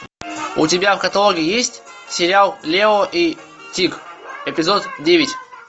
у тебя в каталоге есть сериал лео и тиг эпизод девять